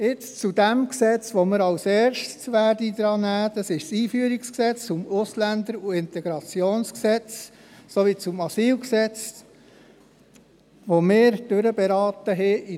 Jetzt, zu jenem Gesetz, welches wir zuerst behandeln werden, dem EG AIG und AsylG. Wir berieten dieses in